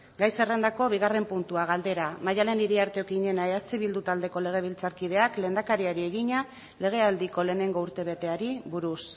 gai zerrendako bigarren puntua galdera maddalen iriarte okiñena eh bildu taldeko legebiltzarkideak lehendakariari egina legealdiko lehenengo urtebeteari buruz